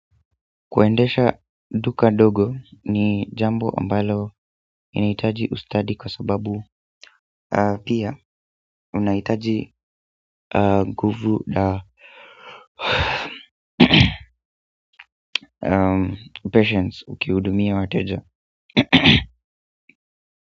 Kuendesha duka dogo ni jambo ambalo inahitaji ustadi kwa sababu pia unahitaji nguvu la patience ukihudumia wateja.